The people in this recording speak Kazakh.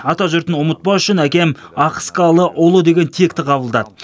атажұртын ұмытпас үшін әкем ахыскалыұлы деген текті қабылдады